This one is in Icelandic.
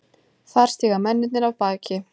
Þar stíga mennirnir af baki.